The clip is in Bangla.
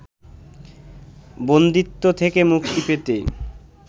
বন্দিত্ব থেকে মুক্তি পেতে